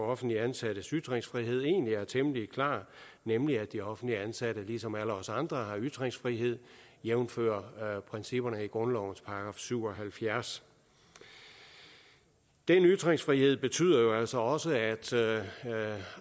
offentligt ansattes ytringsfrihed egentlig er temmelig klar nemlig at de offentligt ansatte ligesom alle os andre har ytringsfrihed jævnfør principperne i grundlovens § syv og halvfjerds den ytringsfrihed betyder altså også at